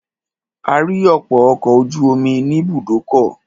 A rí ọ̀pọ̀ ọkọ̀ ojú omi ní ibùdókọ̀.